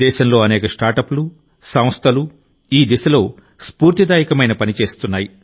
దేశంలో అనేక స్టార్టప్లు సంస్థలు ఈ దిశలో స్ఫూర్తిదాయకమైన పని చేస్తున్నాయి